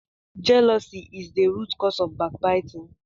jealousy is the root cause of backbiting.